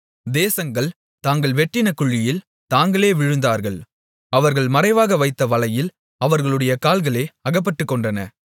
தேசங்கள் தாங்கள் வெட்டின குழியில் தாங்களே விழுந்தார்கள் அவர்கள் மறைவாக வைத்த வலையில் அவர்களுடைய கால்களே அகப்பட்டுக்கொண்டன